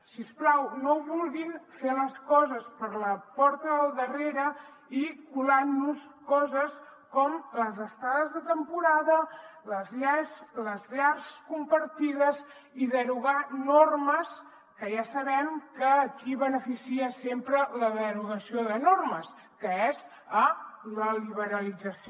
si us plau no vulguin fer les coses per la porta del darrere i colant nos coses com les estades de temporada les llars compartides i derogar normes que ja sabem a qui beneficia sempre la derogació de normes que és a la liberalització